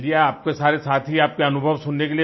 चलिए आपके सारे साथी आपका अनुभव सुनने के